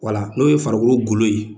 n'o ye farikolo golo ye.